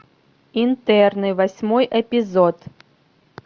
интерны восьмой эпизод